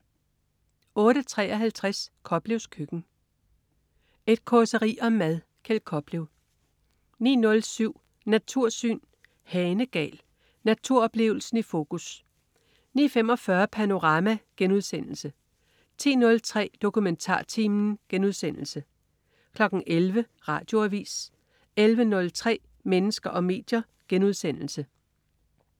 08.53 Koplevs køkken. Et causeri om mad. Kjeld Koplev 09.07 Natursyn. Hanegal. Naturoplevelsen i fokus 09.45 Panorama* 10.03 DokumentarTimen* 11.00 Radioavis 11.03 Mennesker og medier*